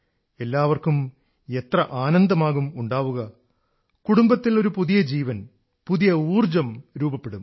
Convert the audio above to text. എല്ലാവർക്കും എത്ര ആനന്ദമാകും ഉണ്ടാവുക കുടുബത്തിൽ ഒരു പുതിയ ജീവൻ പുതിയ ഊർജ്ജം രൂപപ്പെടും